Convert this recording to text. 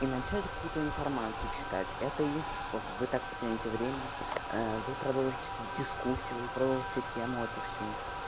и начать какую-то информацию читать это единственный способ вы так потяните время вы продолжите дискуссию вы продолжите тему эту всю